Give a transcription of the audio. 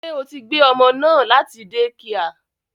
Ṣé o tí gbé ọmọ náà láti dẹ́kià?